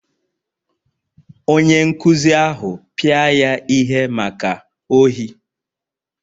Onye nkụzi ahụ pịa ya ihe maka ohi